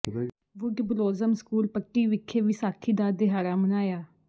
wood Blossom School Patti ਵਿਖੇ ਵਿਸਾਖੀ ਦਾ ਦਿਹਾੜਾ ਮਨਾਇਆ